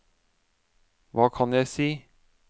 hva kan jeg si